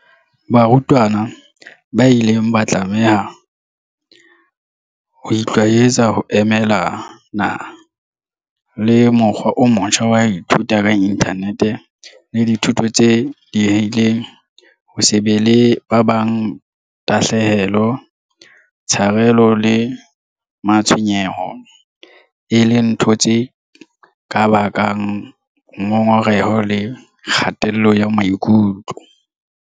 Barutwana ba ile ba tlameha ho itlwaetsa ho emelana le mokgwa o motjha wa ho ithuta ka inthanete le dithuto tse diehileng, ho se be le ba bang, tahlehelo, tsharelo le matshwenyeho, e leng ntho tse ka bakang ngongoreho le kgatello ya maikutlo.